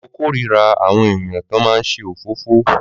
Mọ kó rí rà awọn èyán to má nṣe òfófó